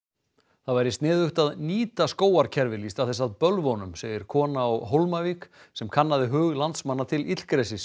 það væri sniðugt að nýta skógarkerfil í stað þess að bölva honum segir kona á Hólmavík sem kannaði hug landsmanna til illgresis